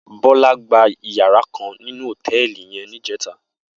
Bola gbá iyàrá kán ninú hótèlí yèn nijètá